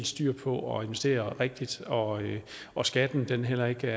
styr på at investere rigtigt og at skatten heller ikke